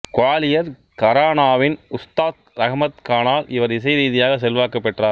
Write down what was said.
குவாலியர் கரானாவின் உஸ்தாத் ரஹ்மத் கானால் இவர் இசை ரீதியாக செல்வாக்கு பெற்றார்